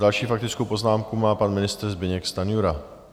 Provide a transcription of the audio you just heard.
Další faktickou poznámku má pan ministr Zbyněk Stanjura.